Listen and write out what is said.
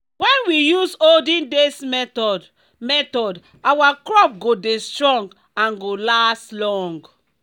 wen we use olden days method method our crop go dey strong and go last long.